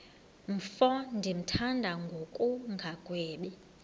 mfo ndimthanda ngokungagwebi